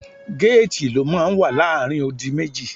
Géètì ló máa ń wà láàrin odi méjì.